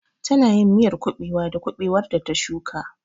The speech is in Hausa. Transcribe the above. Tana yin miyar kuɓewa da kuɓewar da ta shuka.